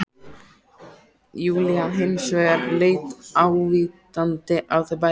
Júlía hins vegar leit ávítandi á þau bæði